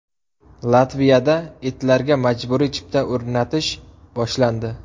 Latviyada itlarga majburiy chip o‘rnatish boshlandi.